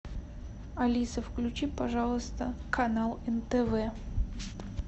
алиса включи пожалуйста канал нтв